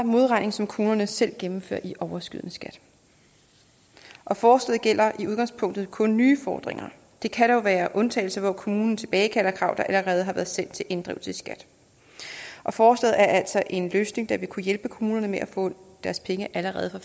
modregning som kommunerne selv gennemfører i overskydende skat forslaget gælder i udgangspunktet kun nye fordringer der kan dog være undtagelser hvor kommunen tilbagekalder krav der allerede har været sendt til inddrivelse i skat forslaget er altså en løsning der vil kunne hjælpe kommunerne med at få deres penge allerede fra